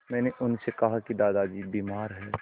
मैंने उनसे कहा कि दादाजी बीमार हैं